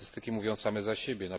Statystyki mówią same za siebie.